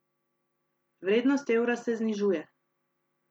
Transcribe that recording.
Vrednost evra se znižuje.